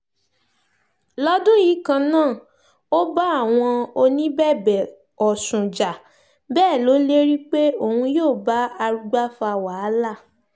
lọ́dún yìí kan náà ó bá àwọn oníbẹ̀bẹ̀ ọ̀sùn jà bẹ́ẹ̀ lọ lérí pé òun yóò bá arugba fa wàhálà